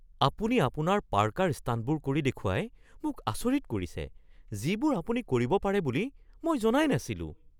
আপুনি আপোনাৰ পাৰ্কাৰ ষ্টাণ্টবোৰ কৰি দেখুৱাই মোক আচৰিত কৰিছে যিবোৰ আপুনি কৰিব পাৰে বুলি মই জনাই নাছিলোঁ।